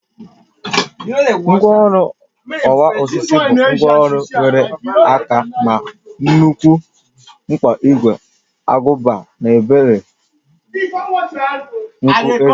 Ngwaọrụ ọwa osisi bụ ngwaọrụ nwere aka ma nwekwa mkpa ígwè agụba na obere nkọ ezé